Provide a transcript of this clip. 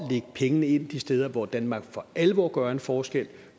pengene et af de steder hvor danmark for alvor gør en forskel